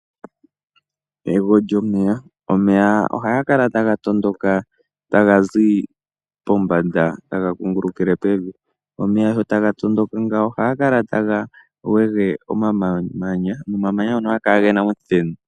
Ego lyomeya. Omeya oha gakala ta gatondoka ta gazi pombanda ta gakungulukile pevi. Omeya sho ta gatondoka ngawo oha gakala ta gawege omamanya, nomamanya ngono oha gakala gena omuthenu.